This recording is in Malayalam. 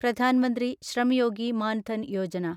പ്രധാൻ മന്ത്രി ശ്രം യോഗി മാൻ ധൻ യോജന